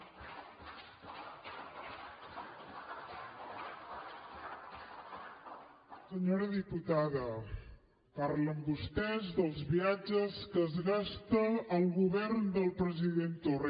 senyora diputada parlen vostès dels viatges que es gasta el govern del president torra